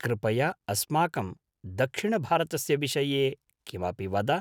कृपया अस्माकं दक्षिणभारतस्य विषये किमपि वद।